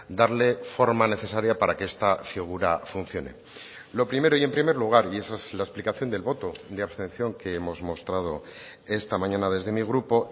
darle forma necesaria para que esta figura funcione lo primero y en primer lugar y esa es la explicación del voto de abstención que hemos mostrado esta mañana desde mi grupo